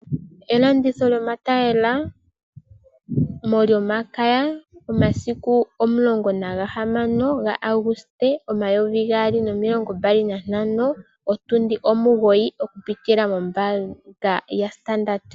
Elanditho lyo matayiela molyomakaya omasiku omulongo nagahamo ga Auguste omayovi gaali nomilongo mbali nantano otundi omugoyi oku pitila moombanga ya Standard.